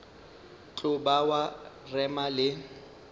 tlo ba wa rema le